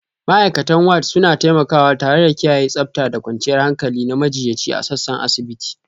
Ma'aikatan Ward suna taimakawa tare da kiyaye tsabta da kwanciyar hankali na majiyyaci a sassan asibiti